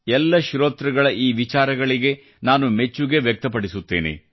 ಎಲ್ಲ ಶ್ರೋತೃಗಳ ಈ ವಿಚಾರಗಳಿಗೆ ನಾನು ಮೆಚ್ಚುಗೆ ವ್ಯಕ್ತಪಡಿಸುತ್ತೇನೆ